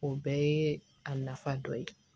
O bɛɛ ye a nafa dɔ ye